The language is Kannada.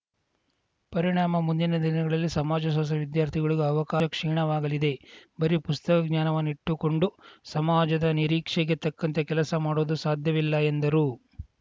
ಪರಿಣಾಮ ಮುಂದಿನ ದಿನಗಳಲ್ಲಿ ಸಮಾಜಶಾಸ್ತ್ರ ವಿದ್ಯಾರ್ಥಿಗಳಿಗೂ ಅವಕಾಶ ಕ್ಷೀಣವಾಗಲಿದೆ ಬರೀ ಪುಸ್ತಕ ಜ್ಞಾನವನ್ನಿಟ್ಟುಕೊಂಡು ಸಮಾಜದ ನಿರೀಕ್ಷೆಗೆ ತಕ್ಕಂತೆ ಕೆಲಸ ಮಾಡುವುದೂ ಸಾಧ್ಯವಿಲ್ಲ ಎಂದರು